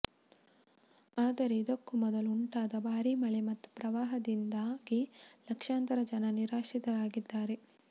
ಆದರೆ ಇದಕ್ಕೂ ಮೊದಲು ಉಂಟಾದ ಭಾರೀ ಮಳೆ ಮತ್ತು ಪ್ರವಾಹದಿಂದಾಗಿ ಲಕ್ಷಾಂತರ ಜನ ನಿರಾಶ್ರಿತರಾಗಿದ್ದಾರೆ